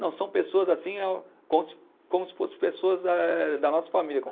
Não, são pessoas assim, eh como se, como se fossem pessoas eh da nossa família.